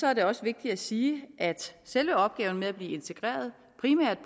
er det også vigtigt at sige at selve opgaven med at blive integreret primært